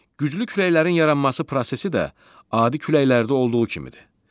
Güclü küləklərin yaranması prosesi də adi küləklərdə olduğu kimidir.